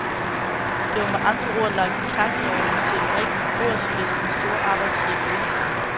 Det var med andre ord lagt i kakkelovnen til en rigtig børsfest med store arbejdsfri gevinster.